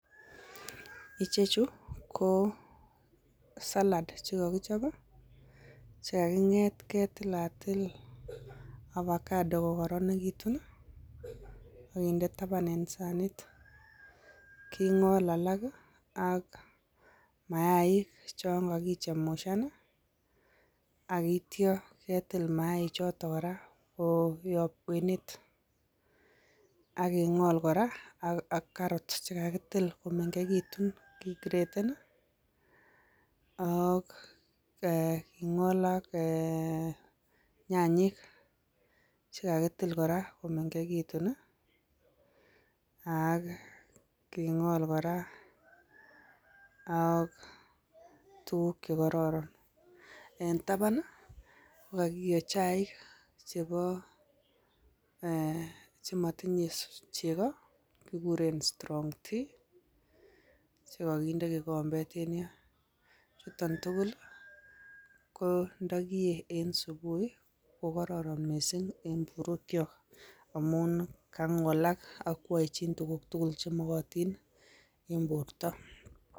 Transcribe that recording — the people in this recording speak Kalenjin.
Ichechu ko salad chekokichob i chekaking'eet ketilatil abakato kokoronekitun akinde taban en saniit king'ol alak ak mayaik chon kakichemushan akityo ketiil mayaik choton kora koyob kwenet, aking'ol kora ak karot chekakitil komeng'ekitun ke kreden ak eeh king'ol ak eeh nyanyik chekakitil kora komeng'ekitun ii ak king'ol kora ak tukuk chekororon, en taban kokakiyo chaik cheboo eeh chemotinye chekoo chekikuren strong tea chekokindee kikombet en yoon, chuton tukul kondokiyee en subui kokororon mising en borwekyok amun kang'olak ak kwoechin tukuk tukul chemokotin en bortoo.